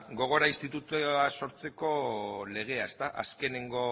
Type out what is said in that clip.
gogora institutua sortzeko legea azkeneko